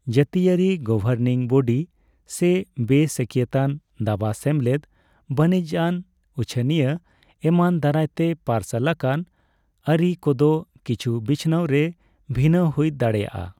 ᱡᱟᱹᱛᱤᱭᱟᱹᱨᱤ governing body, ᱥᱮ ᱵᱮᱼᱥᱟᱹᱠᱭᱟᱹᱛᱟᱱ ᱫᱟᱵᱟ ᱥᱮᱢᱞᱮᱫ, ᱵᱟᱹᱱᱤᱡᱽᱟᱱ ᱩᱪᱷᱟᱹᱱᱤᱭᱟᱹ ᱮᱢᱟᱱ ᱫᱟᱨᱟᱭᱛᱮ ᱯᱟᱨᱥᱟᱞ ᱟᱠᱟᱱ ᱟᱹᱨᱤ ᱠᱚᱫᱚ ᱠᱤᱪᱷᱩᱵᱤᱪᱷᱱᱟᱹᱣ ᱨᱮ ᱵᱷᱤᱱᱟᱹ ᱦᱩᱭ ᱫᱟᱲᱮᱭᱟᱜᱼᱟ ᱾